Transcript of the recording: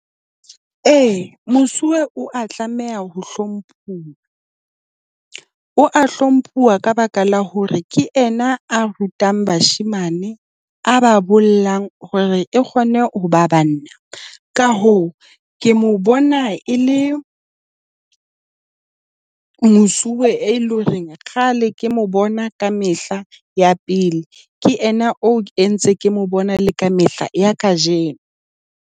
Ee, mosuwe o a tlameha ho hlomphuwa. O a hlomphuwa ka baka la hore ke yena a rutang bashemane a ba bolelang hore e kgone ho ba banna. Ka hoo, ke mo bona e le mosuwe e leng hore kgale ke mo bona ka mehla ya pele, ke yena o e ntseng ke mo bona le ka mehla ya kajeno.